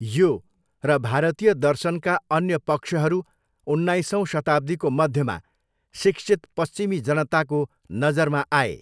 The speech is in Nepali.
यो र भारतीय दर्शनका अन्य पक्षहरू उन्नाइसौँ शताब्दीको मध्यमा शिक्षित पश्चिमी जनताको नजरमा आए।